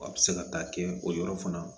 Wa bɛ se ka taa kɛ o yɔrɔ fana